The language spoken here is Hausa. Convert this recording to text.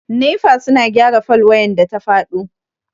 Nefa suna gyara fol wayan da ta faɗo.